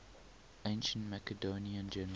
ancient macedonian generals